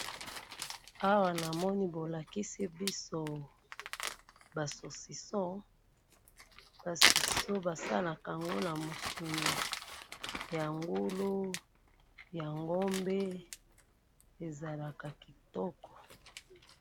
awa namoni bolakisi biso ba sisoso ba sosiso basalakango na misuni ya ngulu ya ngombe ezalaka kitoko